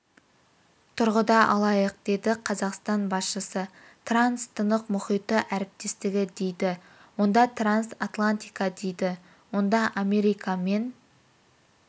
тұрғыда алайық деді қазақстан басшысы транс-тынық мұхиты әріптестігі дейді онда транс-атлантика дейді онда америка мен